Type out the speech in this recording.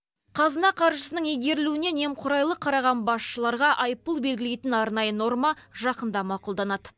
қазына қаржысының игерілуіне немқұрайлы қараған басшыларға айыппұл белгілейтін арнайы норма жақында мақұлданады